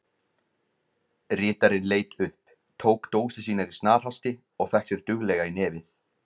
Ritarinn leit upp, tók dósir sínar í snarhasti og fékk sér duglega í nefið.